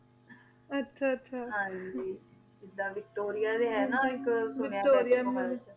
ਆਹ ਆਹ ਹਨ ਜੀ vectora ਡੀ ਹੈਂ ਨਾ ਕੇ vectore